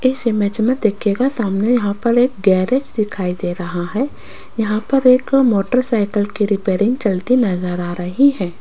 इस इमेज मे देखियेगा सामने यहां पर एक गेराज दिखाई दे रहा है यहां पर एक मोटरसाइकिल की रिपेयरिंग चलती नजर आ रही है।